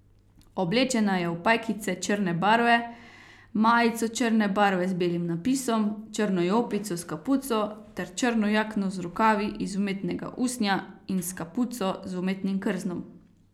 Oblečena je v pajkice črne barve, majico črne barve z belim napisom, črno jopico s kapuco ter črno jakno z rokavi iz umetnega usnja in s kapuco z umetnim krznom.